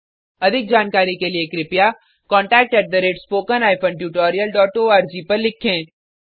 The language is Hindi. अधिक जानकारी के लिए कृपया contact at spoken hyphen tutorial dot org को लिखें